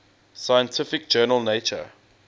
scientific journal nature